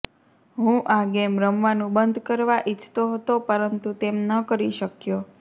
હું આ ગેમ રમવાનું બંધ કરવા ઈચ્છતો હતો પરંતુ તેમ ન કરી શક્યો